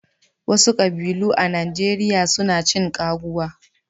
Wasu kƙbilun a Najeriya su na cin ƙaguwa.